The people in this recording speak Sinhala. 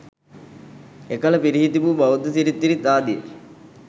එකල පිරිහී තිබූ බෞද්ධ සිරිත් විරිත් ආදිය